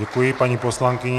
Děkuji paní poslankyni.